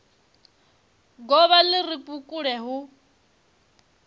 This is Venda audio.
govha li re vhukule hu